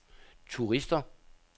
turister